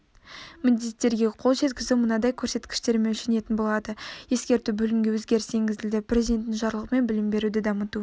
міндеттерге қол жеткізу мынадай көрсеткіштермен өлшенетін болады ескерту бөлімге өзгеріс енгізілді президентінің жарлығымен білім беруді дамыту